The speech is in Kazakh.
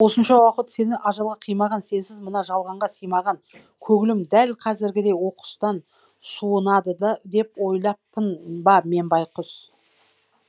осынша уақыт сені ажалға қимаған сенсіз мына жалғанға сыймаған көңілім дәл қазіргідей оқыстан суынады да деп ойлаппын ба мен байқұс